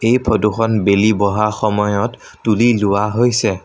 এই ফটো খন বেলি বহা সময়ত তুলি লোৱা হৈছে।